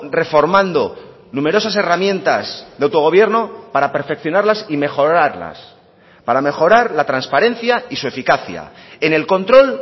reformando numerosas herramientas de autogobierno para perfeccionarlas y mejorarlas para mejorar la transparencia y su eficacia en el control